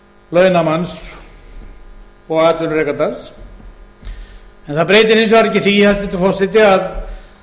launamanns og atvinnurekandans en það breytir hins vegar ekki því hæstvirtur forseti að